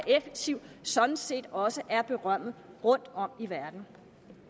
effektiv sådan set også er berømmet rundtom i verden